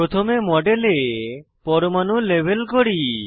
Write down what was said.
প্রথমে মডেলে পরমাণু লেবেল করি